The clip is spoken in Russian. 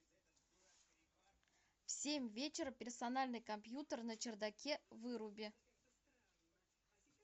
в семь вечера персональный компьютер на чердаке выруби